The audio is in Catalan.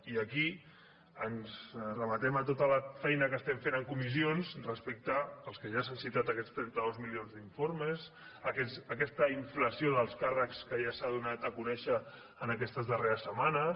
i aquí ens remetem a tota la feina que estem fent en comissions respecte als que ja s’han citat aquests trenta dos milions d’informes aquesta inflació d’alts càrrecs que ja s’ha donat a conèixer en aquestes darreres setmanes